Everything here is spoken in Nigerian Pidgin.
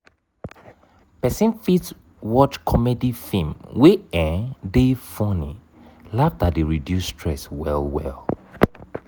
person fit watch comedy film wey um dey funny laughter dey reduce stress well well